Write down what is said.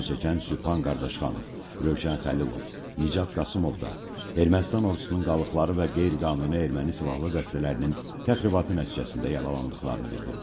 Zərərçəkən Sübhan Qardaşxanov, Rövşən Xəlilov, Nicat Qasımov da Ermənistan ordusunun qalıqları və qeyri-qanuni erməni silahlı dəstələrinin təxribatı nəticəsində yaralandıqlarını bildiriblər.